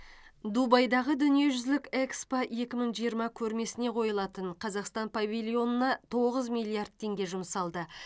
дубайдағы дүниежүзілік экспо екі мың жиырма көрмесіне қойылатын қазақстан павильонына тоғыз миллиард теңге жұмсалды